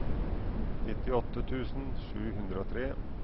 nittiåtte tusen sju hundre og tre